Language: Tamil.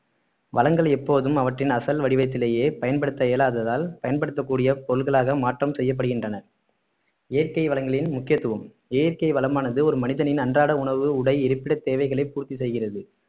வளங்கள் எப்போதும் அவற்றின் அசல் வடிவத்திலேயே பயன்படுத்த இயலாததால் பயன்படுத்தக்கூடிய பொருட்களாக மாற்றம் செய்யப்படுகின்றன இயற்கை வளங்களின் முக்கியத்துவம் இயற்கை வளமானது ஒரு மனிதனின் அன்றாட உணவு உடை இருப்பிட தேவைகளை பூர்த்தி செய்கிறது